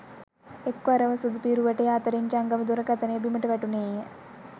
එක්වරම සුදුපිරුවටය අතරින් ජංගම දුරකථනය බිමට වැටුනේය